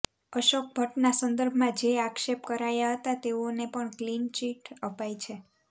અશોક ભટ્ટના સંદર્ભમાં જે આક્ષેપ કરાયા હતા તેઓને પણ ક્લીનચીટ અપાઈ છે